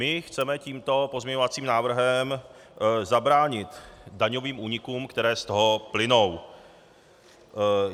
My chceme tímto pozměňovacím návrhem zabránit daňovým únikům, které z toho plynou.